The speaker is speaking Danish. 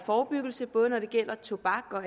forebyggelse både når det gælder tobak og